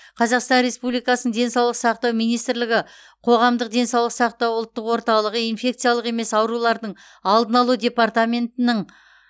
қазақстан республикасының денсаулық сақтау министрлігі қоғамдық денсаулық сақтау ұлттық орталығы инфекциялық емес аурулардың алдын алу департаментінің